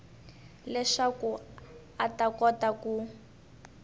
leswaku a ta kota ku